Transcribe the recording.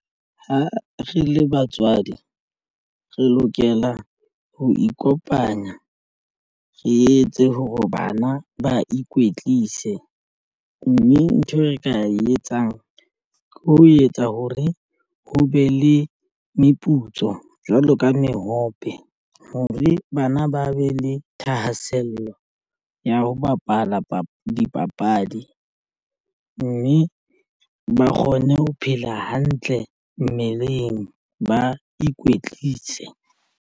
Ha re le batswadi re lokela ho ikopanya re etse hore bana ba ikwetlise mme ntho e re ka e etsang ke ho etsa ho re ho be le meputso jwalo ka mehope hore bana ba be le thahasello ya ho bapala dipapadi mme ba kgone ho phela hantle mmeleng ba ikwetlise.